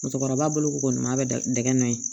Musokɔrɔba bolo ko n ma bɛ dɛgɛ nɔ ye